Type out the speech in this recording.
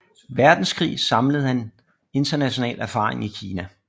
Verdenskrig samlede han international erfaring i Kina